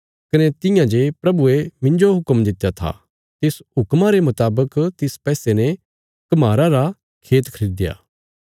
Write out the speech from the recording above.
कने तियां जे प्रभुये मिन्जो हुक्म दित्या था तिस हुक्मा रे मुतावक तिस पैसे ने कम्हारा रा खेत खरीदया